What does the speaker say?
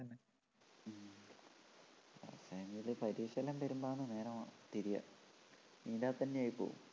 പക്ഷേങ്കില് പരീക്ഷയെല്ലാം വരുമ്പോഴാണ് നേരെ തിരിയാ ഇതിൻ്റെ അകത്തുതന്നെ ആയിപ്പോവും